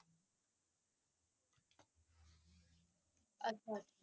ਅੱਛਾ ਅੱਛਾ।